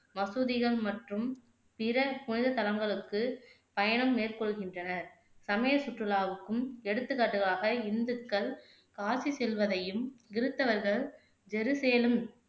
மசூதிகள் மற்றும் பிற புனித தளங்களுக்கு பயணம் மேற்கொள்கின்றன சமய சுற்றுலாவுக்கும் எடுத்துக்காட்டுவாக இந்துக்கள் காசி செல்வதையும் கிருத்தவர்கள்